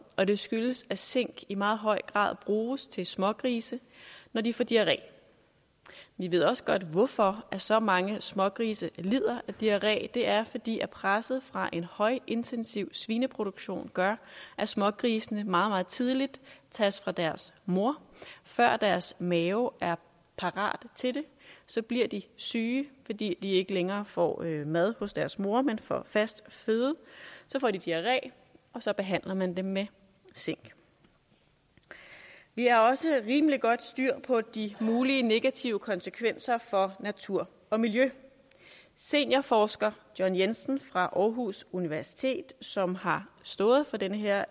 og det skyldes at zink i meget høj grad bruges til smågrise når de får diarré vi ved også godt hvorfor så mange smågrise lider af diarré det er fordi presset fra en højintensiv svineproduktion gør at smågrisene meget meget tidligt tages fra deres mor før deres maver er parate til det så bliver de syge fordi de ikke længere får mad hos deres mor men får fast føde så får de diarré og så behandler man dem med zink vi har også rimelig godt styr på de mulige negative konsekvenser for natur og miljø seniorforsker john jensen fra aarhus universitet som har stået for den her